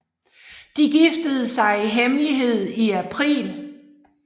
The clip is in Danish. De giftede sig i hemmelighed i april